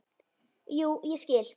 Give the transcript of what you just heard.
Jú, ég skil.